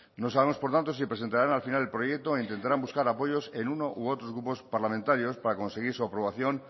no sabemos por tanto si presentarán al final el proyecto o intentarán buscar apoyos en uno u otros grupos parlamentarios para conseguir su aprobación